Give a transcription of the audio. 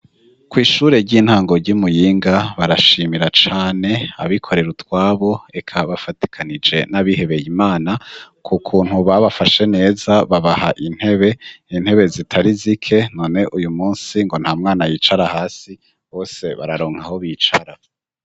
Kw'ishure ry'intango ry'imuyinga barashimira cane abikorera utwabo eka bafatikanije n'abihebeye imana, ku kuntu babafashe neza babaha intebe. Intebe zitari zike none uyu munsi ngo nta mwana yicara hasi bose bararonka aho bicara.